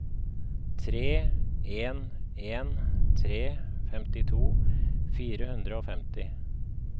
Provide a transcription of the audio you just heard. tre en en tre femtito fire hundre og femti